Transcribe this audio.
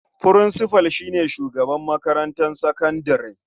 Furinsifal shi ne shugaban makarantar sakandare.